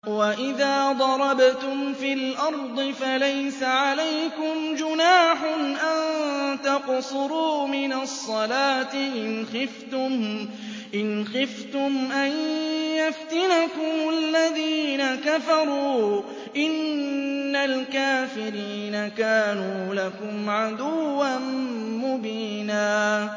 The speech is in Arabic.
وَإِذَا ضَرَبْتُمْ فِي الْأَرْضِ فَلَيْسَ عَلَيْكُمْ جُنَاحٌ أَن تَقْصُرُوا مِنَ الصَّلَاةِ إِنْ خِفْتُمْ أَن يَفْتِنَكُمُ الَّذِينَ كَفَرُوا ۚ إِنَّ الْكَافِرِينَ كَانُوا لَكُمْ عَدُوًّا مُّبِينًا